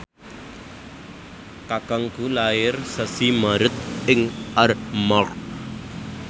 kakangku lair sasi Maret ing Armargh